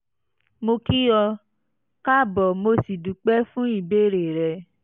mo kí ọ káàbọ̀ mo sì dúpẹ́ fún ìbéèrè rẹ